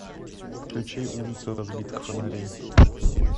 включи улица разбитых фонарей